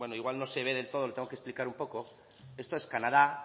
igual no se ve del todo lo tengo que explicar un poco esto es canadá